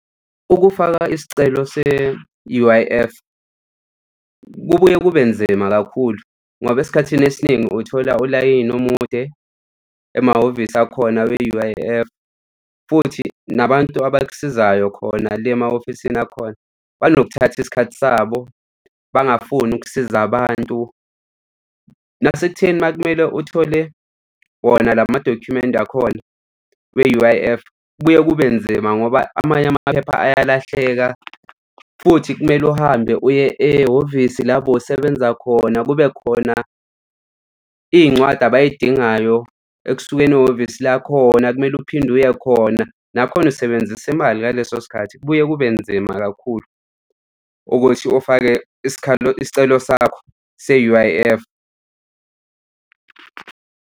Ukufaka isicelo se-U_I_F kubuye kube nzima kakhulu, ngoba esikhathini esiningi uthola ulayini umude emahhovisi akhona we-U_I_F futhi nabantu abakusizayo khona le ema-ofisini akhona bazothatha isikhathi sabo bangafuni ukusiza abantu nasekutheni uma kumele uthole wona la madokhumenti akhona we-U_I_F. Kubuye kube nzima ngoba amanye amaphepha ayalahleka futhi kumele uhambe uye ehhovisi labo bewusebenza khona, kube khona iy'ncwadi abay'dingayo ekusukeni ihhovisi lakhona kumele uphinde uye khona, nakhona usebenzise imali ngaleso sikhathi kubuye kube nzima kakhulu ukuthi ufake isikhalo, isicelo sakho se-U_I_F.